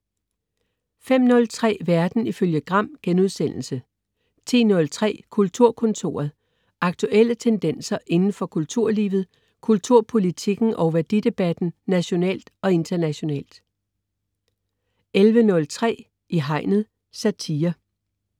05.03 Verden ifølge Gram* 10.03 Kulturkontoret. Aktuelle tendenser inden for kulturlivet, kulturpolitikken og værdidebatten nationalt og internationalt 11.03 I hegnet. Satire